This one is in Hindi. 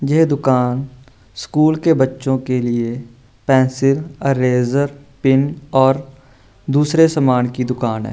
जे दूकान स्कूल के बच्चों के लिए पेंसिल इरेज़र पिन और दूसरे सामान की दुकान है।